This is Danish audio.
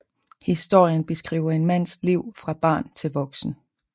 Historien beskriver en mands liv fra barn til voksen